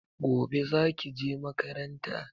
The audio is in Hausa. Gobe zaki je makaranta?